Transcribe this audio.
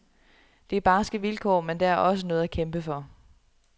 Det er barske vilkår, men der er også noget at kæmpe for.